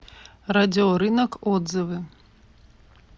радиорынок отзывы